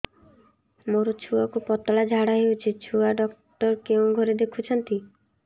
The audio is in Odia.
ମୋର ଛୁଆକୁ ପତଳା ଝାଡ଼ା ହେଉଛି ଛୁଆ ଡକ୍ଟର କେଉଁ ଘରେ ଦେଖୁଛନ୍ତି